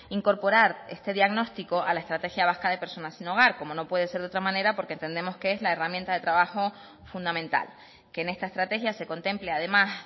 incorporar este diagnóstico a la estrategia vasca de personas sin hogar como no puede ser de otra manera porque entendemos que es la herramienta de trabajo fundamental que en esta estrategia se contemple además